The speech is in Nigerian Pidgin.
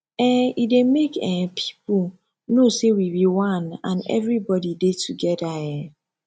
um e dey mek um pipo no say we bi one and evribodi dey togeda um